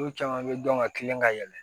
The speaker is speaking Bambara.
N'u caman bɛ dɔn ka kilen ka yɛlɛ